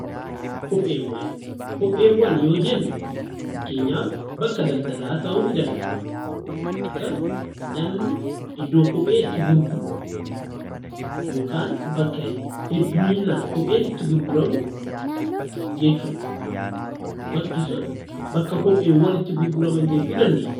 Kopheewwan: Kopheewwan yoo jennu fakkeenyaaf bakka daldalaa daldalaa ta'uu ni danda’a, bakka namni iddoo kophee itti gurguru yookaan bakka hedduuminaan kopheen itti gurguramu jechuudha. Bakki sun bakka kopheewwan itti gurguraman jechuu dandeenya.